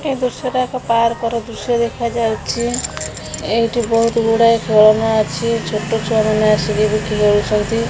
ଏହି ଦୃଶ୍ୟ ଟା ଏକ ପାର୍କ ର ଦୃଶ୍ୟ ଦେଖା ଯାଉଅଛି ଏହିଟି ବହୁତ ଗୋଡ ଏ ଖେଳନା ଅଛି ଛୋଟ ମାନେ ଆସି ବି ଖେଲୁଛନ୍ତି ।